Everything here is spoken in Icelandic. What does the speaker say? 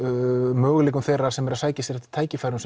möguleikum þeirra sem sækjast eftir tækifærum